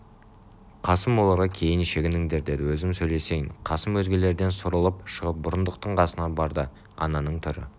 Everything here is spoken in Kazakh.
қасым оларға кейін шегініңдер деді өзім сөйлесейін қасым өзгелерден суырылып шығып бұрындықтың қасына барды ананың түрі